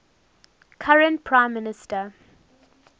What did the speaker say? current prime minister